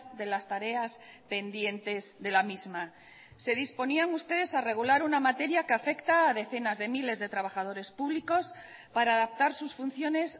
de las tareas pendientes de la misma se disponían ustedes a regular una materia que afecta a decenas de miles de trabajadores públicos para adaptar sus funciones